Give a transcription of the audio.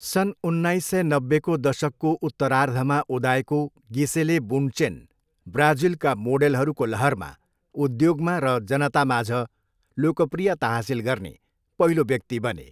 सन् उन्नाइस सय नब्बेको दशकको उत्तरार्धमा उदाएको गिसेले बुन्डचेन ब्राजिलका मोडेलहरूको लहरमा उद्योगमा र जनतामाझ लोकप्रियता हासिल गर्ने पहिलो व्यक्ति बने।